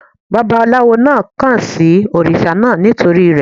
Bàbálawo náà kàn sí òrìṣà náà nítorí rẹ̀.